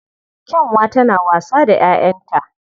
Kyanwa tana wasa da 'ya'yanta